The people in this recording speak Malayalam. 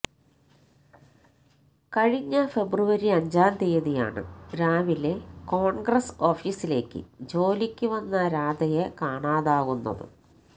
കഴിഞ്ഞ ഫെബ്രുവരി അഞ്ചാം തീയതിയാണ് രാവിലെ കോണ്ഗ്രസ് ഓഫീസിലേക്ക് ജോലിക്ക് വന്ന രാധയെ കാണാതാകുന്നത്